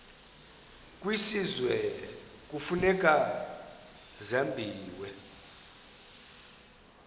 kwisizwe kufuneka zabiwe